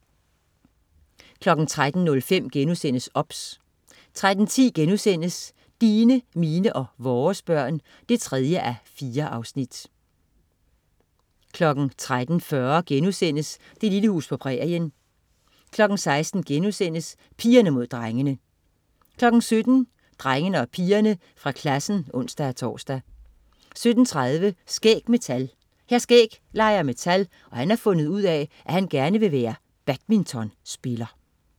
13.05 OBS* 13.10 Dine, mine og vores børn 3:4* 13.40 Det lille hus på prærien* 16.00 Pigerne Mod Drengene* 17.00 Drengene og pigerne fra klassen (ons-tors) 17.30 Skæg med tal. Hr. Skæg leger med tal, og han har fundet ud af, at han gerne vil være badmintonspiller